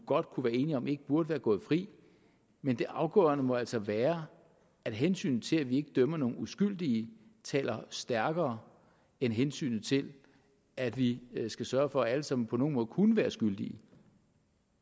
godt kunne være enige om ikke burde være gået fri men det afgørende må altså være at hensynet til at vi ikke dømmer nogen uskyldige taler stærkere end hensynet til at vi skal sørge for at alle som på nogen måde kunne være skyldige